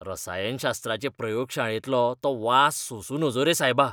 रसायनशास्त्राचे प्रयोगशाळेंतलो तो वास सोंसू नजो रे सायबा.